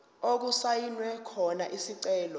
okusayinwe khona isicelo